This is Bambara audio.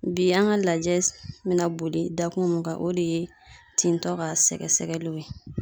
Bi an ka lajɛ bɛ na boli dakun mun kan , o de ye tintɔ ka sɛgɛsɛgɛliw ye.